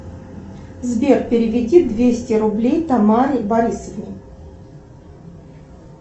сбер переведи двести рублей тамаре борисовне